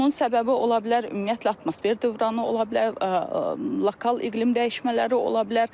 Bunun səbəbi ola bilər ümumiyyətlə atmosfer dövranı ola bilər, lokal iqlim dəyişmələri ola bilər.